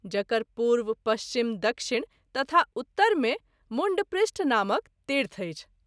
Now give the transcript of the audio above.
जकर पूर्व, पश्चिम, दक्षिण तथा उत्तर मे मुण्डपृष्ठ नामक तीर्थ अछि।